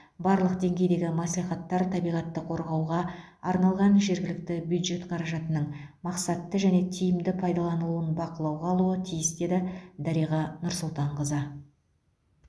барлық деңгейдегі мәслихаттар табиғатты қорғауға арналған жергілікті бюджет қаражатының мақсатты және тиімді пайдаланылуын бақылауға алуы тиіс деді дариға нұрсұлтанқызы